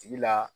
Tigi la